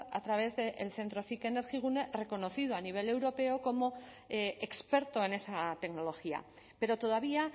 a través del centro cic energigune reconocido a nivel europeo como experto en esa tecnología pero todavía